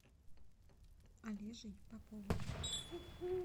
олежей поповым